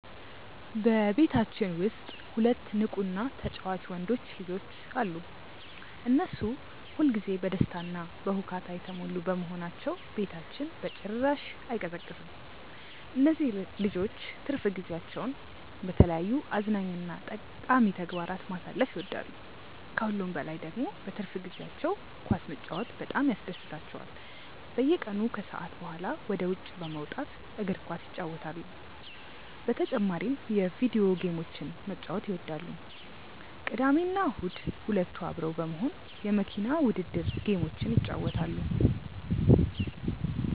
በቤታችን ውስጥ ሁለት ንቁ እና ተጫዋች ወንዶች ልጆች አሉ። እነሱ ሁል ጊዜ በደስታ እና በሁካታ የተሞሉ በመሆናቸው ቤታችን በጭራሽ አይቀዘቅዝም። እነዚህ ልጆች ትርፍ ጊዜያቸውን በተለያዩ አዝናኝ እና ጠቃሚ ተግባራት ማሳለፍ ይወዳሉ። ከሁሉም በላይ ደግሞ በትርፍ ጊዜያቸው ኳስ መጫወት በጣም ያስደስታቸዋል። በየቀኑ ከሰዓት በኋላ ወደ ውጭ በመውጣት እግር ኳስ ይጫወታሉ። በተጨማሪም የቪዲዮ ጌሞችን መጫወት ይወዳሉ። ቅዳሜና እሁድ ሁለቱ አብረው በመሆን የመኪና ውድድር ጌሞችን ይጫወታሉ።